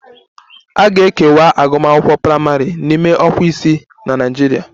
A na-ekewa agụmakwụkwọ praịmarị n'ime ọkwa isii na Naịjirịa